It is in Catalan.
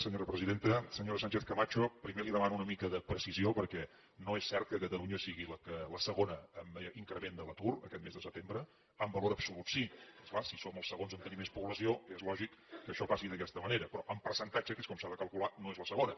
senyora sánchez camacho primer li demano una mica de precisió perquè no és cert que catalunya sigui la segona en increment de l’atur aquest mes de setembre en valor absolut sí és clar si som els segons a tenir més població és lògic que això passi d’aquesta manera però en percentatge que és com s’ha de calcular no és la segona